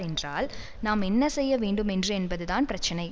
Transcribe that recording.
என்றால் நாம் என்ன செய்ய வேண்டும் என்று என்பதுதான் பிரச்சினை